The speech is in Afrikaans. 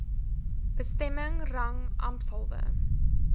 bestemming rang ampshalwe